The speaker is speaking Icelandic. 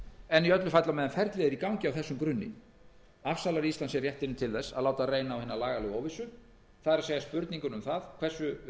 en í öllu falli á meðan ferlið er í gangi á þessum grunni að láta reyna á hina lagalegu óvissu það er spurninguna um það hversu